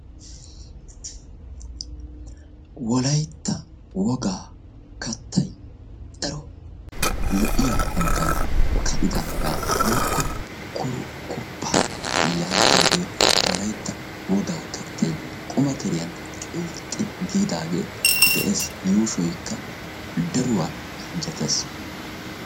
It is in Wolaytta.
wolaytta wogaa kattay daro hanottan ka'idi giigidaagaa woykko kurkkupaa yaagiyoogee wolaytta wogaa kattay beetees